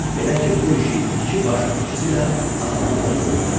Belə ki, bu işi iki baş öküz ilə asanlıqla görmək olar.